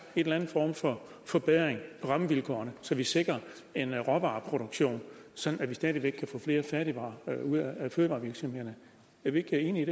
en eller anden form for forbedring af rammevilkårene så vi sikrer en råvareproduktion sådan at vi stadig væk kan få flere færdigvarer ud af fødevarevirksomhederne er vi ikke enige